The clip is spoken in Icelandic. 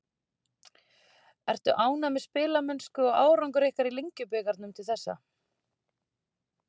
Ertu ánægður með spilamennsku og árangur ykkar í Lengjubikarnum til þessa?